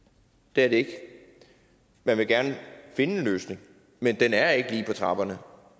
det er det ikke man vil gerne finde en løsning men den er ikke lige på trapperne for